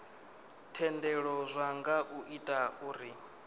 thendelo zwi nga ita uri